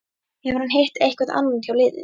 Hefur hann hitt einhvern annan hjá liðinu?